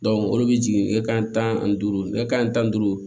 olu bɛ jigin ne ka tan ani duuru kɛ tan ni duuru